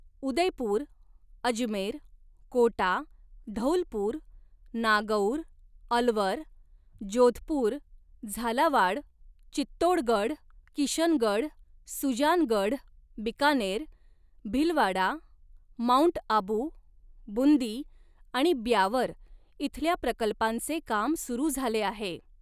Udaipur, Ajmer, Kota, Dholpur, Nagaur, Alwar, Jodhpur, Jhalawar, Chittorgarh, Kishangarh, Sujangarh, Bikaner, Bhilwara, mount Abu, Bundi आणि ब्यावर इथल्या प्रकल्पांचे काम सुरू झाले आहे.